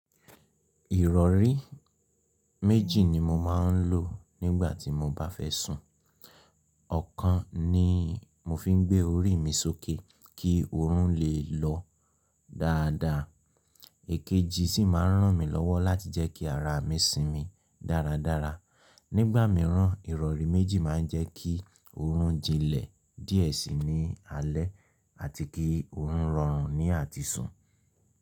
Ìrọ̀rí méjì ni mo máa ń lò nígbà tí mo bá fẹ́ sùn. Ọ̀kan ni mo fi ń gbé orí mi sókè kí oorun lè lọ dáadáa, èkejì sì máa ń ràn mí lọ́wọ́ láti jẹ́ kí ara mi sinmi dáradára. Nígbà mìíràn, ìrọ̀rí méjì máa ń jẹ́ kí oorun jinlẹ̀ díẹ̀ síi ní alẹ́ àti kí oorun rọrùn ní àti sùn.